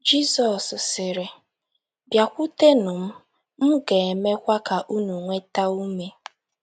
Jizọs sịrị: “ Bịakwutenụ m,... m ga - emekwa ka unu nweta ume.